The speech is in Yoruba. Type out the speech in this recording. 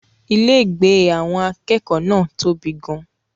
Ilégbèé àwọn akẹ́kọ̀ọ́ náà tóbi gan-an.